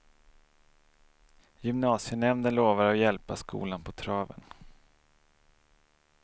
Gymnasienämnden lovar att hjälpa skolan på traven.